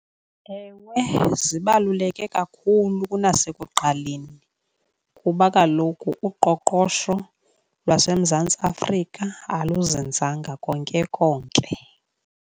Ewe zibaluleke kakhulu kunasekuqaleni kuba kaloku uqoqosho lwaseMzantsi Afrika aluzinzanga konke konke.